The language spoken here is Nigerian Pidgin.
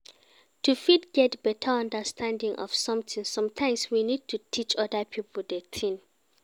To fit get better understanding of something sometimes we need to teach oda pipo the thing